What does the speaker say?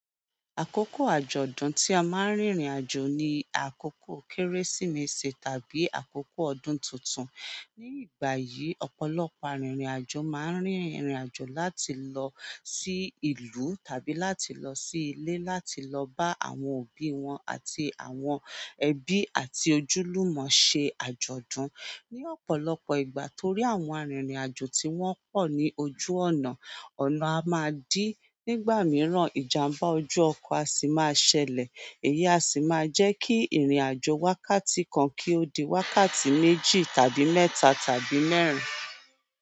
Àkókò àjọ̀dún tí a máa ń rìnrìn àjò ni àkókò Kérésìmesì tàbí àkókò ọdún tuntun. Ní ìgbà yìí, ọ̀pọ̀lọpọ̀ arìnrìn àjò máa ń rìnrìn àjò láti lọ sí ìlú tàbí láti lọ sí ilé láti lọ bá àwọn òbí wọn àti àwọn ẹbí àti ojúlùmọ̀ ṣe àjọ̀dún. Ni ọ̀pọ̀lọpọ̀ ìgbà torí àwọn arìnrìn àjò tí wọ́n pọ̀ ní ojú ọ̀nà, ọ̀nà a máa dí, nígbà mìíràn ìjàmbá ojú ọkọ̀ á sì máa ṣẹlẹ̀, èyí á sì máa jẹ́ kí ìrìn àjò wákàtí kan kí ó di wákàtí méjì tàbí mẹ́ta tàbí mẹ́rin.